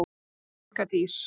Þín, Inga Dís.